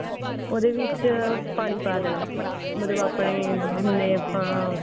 ਉਹਦੇ ਵਿੱਚ ਪਾਣੀ ਪਾ ਦੇਣਾ ਮਤਲਬ ਆਪਣੇ